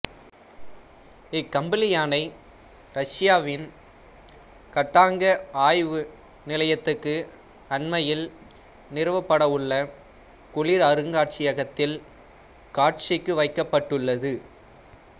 இக்கம்பளி யானை இரசியாவின் கட்டாங்கா ஆய்வு நிலையத்துக்கு அண்மையில் நிறுவப்படவுள்ள குளிர் அருங்காட்சியகத்தில் காட்சிக்கு வைக்கப்பட்டுள்ளது